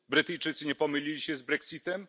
Brytyjczycy nie pomylili się z brexitem?